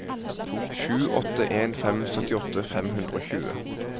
sju åtte en fem syttiåtte fem hundre og tjue